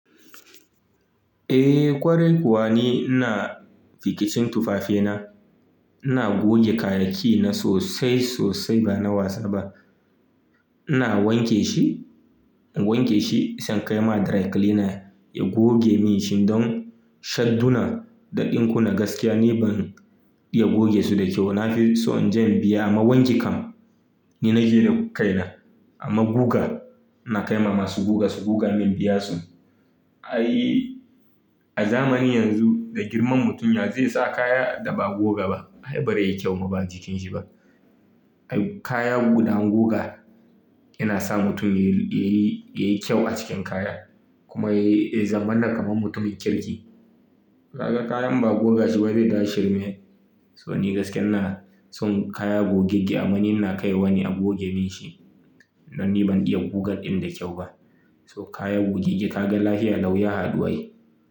Eh, kwarai kuwa ni ina fikicin tufafina. Ina goge kayayyaki na sosai sosai bana wasa ba. Ina wanke shi, in wanke shi sai in kai ma dry cleaner ya goge min shi don shadduna da ɗinku na gaskiya ni ban iya goge su da kyau. Na fi son in je in biya amma wanke kam ni nake da kai na. Amma goga ina kai ma masu guga su guga min in biya su. Ai a zamanin yanzu da girman mutum ya zai sa kaya da ba a goga ba. Ai bare yi kyau ma ba jikin shi ba. Kaya gudan guga yana sa mutum yayi kyau a cikin kaya. Kuma ya zamana kaman mutumin ya ƙirƙi. Kayan in ba a goga shi ba bai dawo da shirme. So ni gaskiya na son kaya gogege aman ina kai wa wani a goge min shi. Dan ni ban iya goga ɗin da kyau ba. To kaya gogege ka ga lahiya lau ya haɗu wa yi.